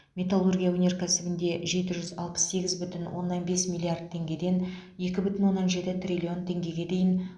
металлургия өнеркәсібінде жеті жүз алпыс сегіз бүтін оннан бес миллард теңгеден екі бүтн оннан жеті триллион теңгеге дейін